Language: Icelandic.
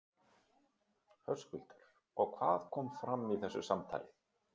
Höskuldur: Og hvað kom fram í þessu samtali?